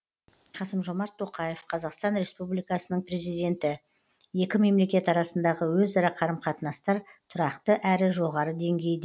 қасым жомарт тоқаев қазақстан республикасының президенті екі мемлекет арасындағы өзара қарым қатынастар тұрақты әрі жоғары деңгейде